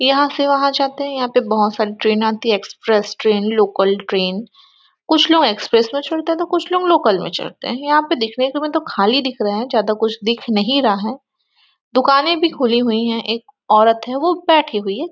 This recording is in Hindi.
यहाँ से वहाँ जाते है यहाँ पे बहुत सारे ट्रैन आते है एक्सप्रेस ट्रैन लोकल ट्रैन कुछ लोग एक्सप्रेस में चढ़ते है तो कुछ लोग लोकल में चढ़ते है यहाँ पे देखने का मतलब खली दिख रहे है ज्यादा कुछ दिख नहीं रहा है दुखने भी खुले है एक औरत है वो बैठी हुई है।